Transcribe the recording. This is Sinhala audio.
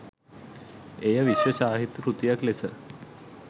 එය විශ්ව සාහිත්‍ය කෘතියක් ලෙස